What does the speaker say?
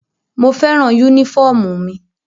Mo fẹ́ràn yúnífọ̀mù mi